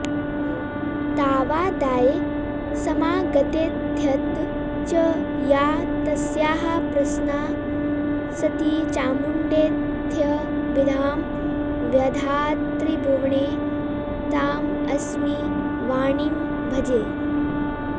तावादाय समागतेत्यथ च या तस्याः प्रसन्ना सती चामुण्डेत्यभिधां व्यधात्त्रिभुवने तामस्मि वाणीं भजे